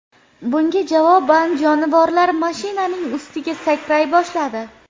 Bunga javoban jonivorlar mashinaning ustiga sakray boshladi.